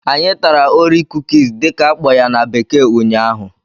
Anyị tara"orie cookies" dị ka akpo ya na bekee ụnyaahụ